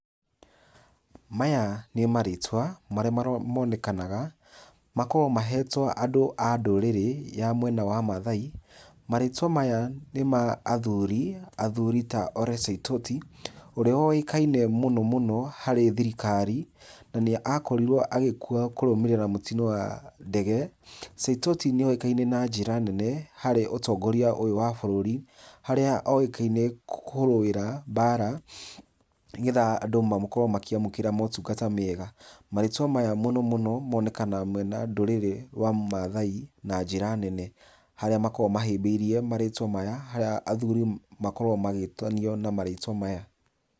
Maya nĩ marĩtwa, marĩa monekanaga. Makoragwo maheetwo andũ a ndũrĩrĩ ya mwena wa Mathai. Marĩtwa maya nĩ ma athuuri, athuuri ta Ole Saitoti, ũrĩa woĩkaine mũno mũno, harĩ thirikari, na nĩ akorirwo agĩkua kũrũmĩrĩra mũtino wa ndege. Saitoti nĩ oĩkaine na njĩra nene harĩ ũtongoria ũyũ wa bũrũri, harĩa oĩkaine kũrũĩra mbaara, nĩgetha andũ makorwo makĩamũkĩra motungata mega. Marĩtwa maya mũno mũno monekanaga mwena wa ndũrĩrĩ wa Maathai na njĩra nene. Harĩa makoragwo mahĩmbĩirie marĩĩtwa maya, harĩa athuuri makoragwo magĩtanio na marĩtwa maya.